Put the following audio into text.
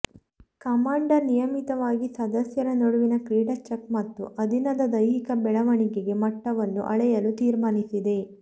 commander ನಿಯಮಿತವಾಗಿ ಸದಸ್ಯರ ನಡುವಿನ ಕ್ರೀಡಾ ಚೆಕ್ ಮತ್ತು ಅಧೀನದ ದೈಹಿಕ ಬೆಳವಣಿಗೆ ಮಟ್ಟವನ್ನು ಅಳೆಯಲು ತೀರ್ಮಾನಿಸಿದೆ